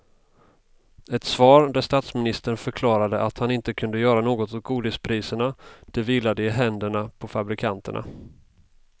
Ett svar där statsministern förklarade att han inte kunde göra något åt godispriserna, det vilade i händerna på fabrikanterna.